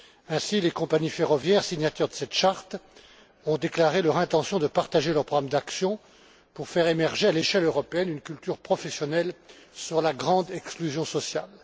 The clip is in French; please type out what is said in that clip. Ainsi, les compagnies ferroviaires signataires de cette charte ont déclaré leur intention de partager leurs programmes d'action pour faire émerger à l'échelle européenne une culture professionnelle sur la grande exclusion sociale.